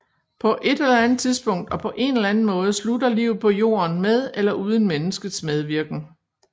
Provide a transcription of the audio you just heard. På ét eller andet tidspunkt og på én eller anden måde slutter livet på Jorden med eller uden menneskets medvirken